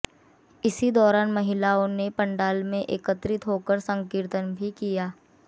इसी दौरान महिलाओं ने पंडाल में एकत्रित होकर संकीर्तन भी किया